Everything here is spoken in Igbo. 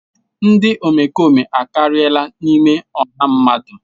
Ndị omekome akariala n'ime ọha mmadụ.